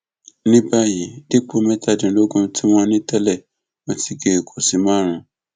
ní báyìí dípò mẹtàdínlógún tí wọn ní tẹlẹ wọn ti gé e kù sí márùnún